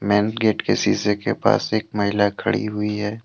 And gate के शीशे के पास एक महिला खड़ी हुई है।